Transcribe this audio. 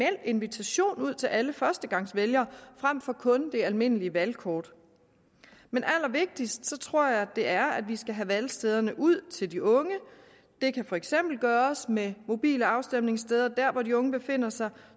invitation ud til alle førstegangsvælgere frem for kun det almindelige valgkort men allervigtigst tror jeg det er at vi skal have valgstederne ud til de unge det kan for eksempel gøres med mobile afstemningssteder dér hvor de unge befinder sig